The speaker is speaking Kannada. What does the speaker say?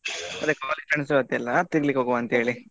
ಅದೇ college friends ಜೊತೆ ಎಲ್ಲ ತಿರ್ಗ್ಲಿಕ್ಕೆ ಹೋಗುವ ಅಂತ ಹೇಳಿ.